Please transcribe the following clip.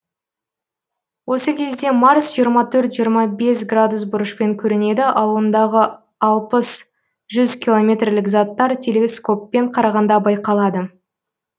осы кезде марс жиырма төрт жиырма бес градус бұрышпен көрінеді ал ондағы алпыс жүз километрлік заттар телескоппен қарағанда байқалады